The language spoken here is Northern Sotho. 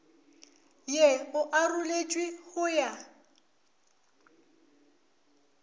ye o aroletšwe go ya